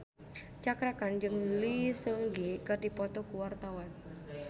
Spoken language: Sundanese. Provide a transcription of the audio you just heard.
Cakra Khan jeung Lee Seung Gi keur dipoto ku wartawan